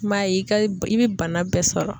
I m'a ye i ka i bɛ bana bɛɛ sɔrɔ.